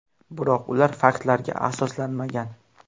Biroq ular faktlarga asoslanmagan.